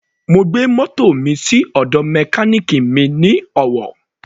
Mo gbé mótò mi sí ọ̀dọ̀ mechanic mi ní Owo.